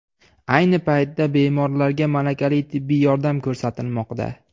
Ayni paytda bemorlarga malakali tibbiy yordam ko‘rsatilmoqda.